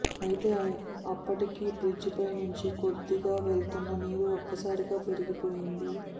అయితే అప్పటికే బ్రిడ్జిపై నుంచి కొద్దిగా వెళ్తున్న నీరు ఒక్కసారిగా పెరిగిపోయింది